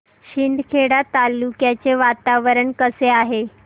शिंदखेडा तालुक्याचे वातावरण कसे आहे